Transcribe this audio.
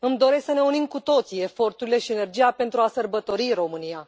Îmi doresc să ne unim cu toții eforturile și energia pentru a sărbători România.